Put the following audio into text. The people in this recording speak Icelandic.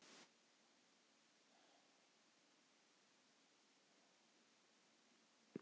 En hvað er það sem Henry vill?